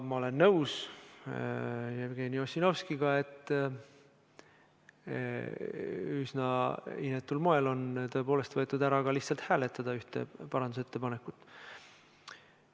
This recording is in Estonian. Ma olen nõus Jevgeni Ossinovskiga, et tõepoolest on üsna inetul moel võetud ära ka võimalus lihtsalt hääletada ühte parandusettepanekut.